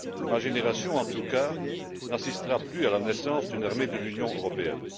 Ma génération, en tout cas, n'assistera plus à la naissance d'une armée de l'Union européenne.